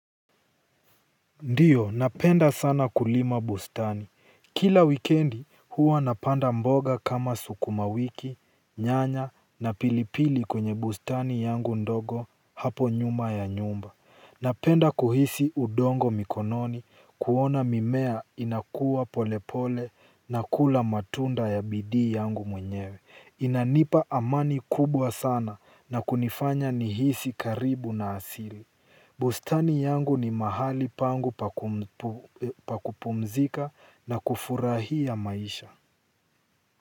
Ndio, napenda sana kulima bustani. Kila wikendi huwa napanda mboga kama sukuma wiki, nyanya na pilipili kwenye bustani yangu ndogo hapo nyuma ya nyumba. Napenda kuhisi udongo mikononi, kuona mimea inakua polepole na kula matunda ya bidii yangu mwenyewe. Inanipa amani kubwa sana na kunifanya nihisi karibu na asili. Bustani yangu ni mahali pangu pa kupumzika na kufurahia maisha.